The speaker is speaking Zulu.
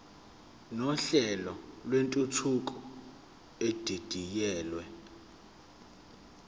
nohlelo lwentuthuko edidiyelwe